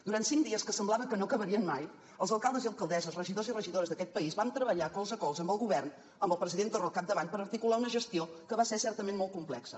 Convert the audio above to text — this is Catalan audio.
durant cinc dies que semblava que no acabarien mai els alcaldes i alcaldesses regidors i regidores d’aquest país van treballar colze a colze amb el govern amb el president torra al capdavant per articular una gestió que va ser certament molt complexa